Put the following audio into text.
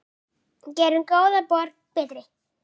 Gerum góða borg betri.